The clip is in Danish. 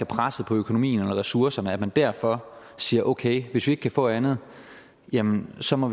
presset på økonomien og ressourcerne og man derfor siger okay hvis vi ikke kan få andet jamen så må